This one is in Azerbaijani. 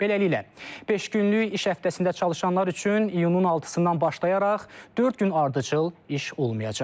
Beləliklə, beş günlük iş həftəsində çalışanlar üçün iyunun 6-dan başlayaraq dörd gün ardıcıl iş olmayacaq.